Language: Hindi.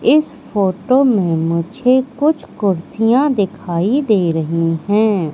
इस फोटो में कुछ कुर्सियां दिखाई दे रही है।